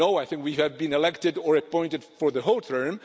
No, I think we have been elected or appointed for the whole term.